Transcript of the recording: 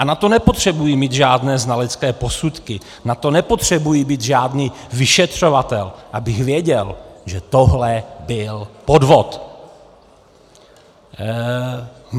A na to nepotřebuji mít žádné znalecké posudky, na to nepotřebuji být žádný vyšetřovatel, abych věděl, že tohle byl podvod.